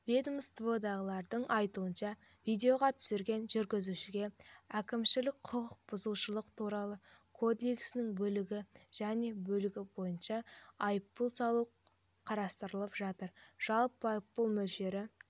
ведомстводағылардың айтуынша видеоға түсірген жүргізушіге әкімшілік құқық бұзушылық туралы кодексінің бөлігі және бөлігі бойынша айыппұл салу қарастырылып жатыр жалпы айыппұл мөлшері